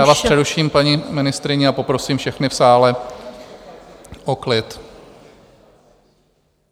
Já vás přeruším, paní ministryně, a poprosím všechny v sále o klid.